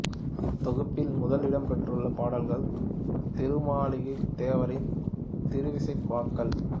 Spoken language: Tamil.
இத் தொகுப்பில் முதல் இடம் பெற்றுள்ள பாடல்கள் திருமாளிகைத் தேவரின் திருவிசைப் பாக்கள்